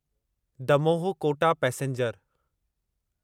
Damoh Kota passenger